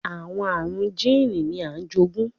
Awọn arun jiini ni a jogun